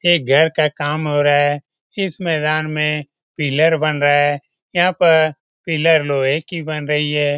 एक घर का काम हो रहा है। इस मैदान में पिलर बना रहा है। यहां पर पिलर लोहे की बन रही है।